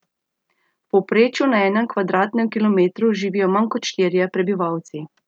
V povprečju na enem kvadratnem kilometru živijo manj kot štirje prebivalci.